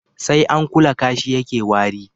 sai an kula kashi ya ke wari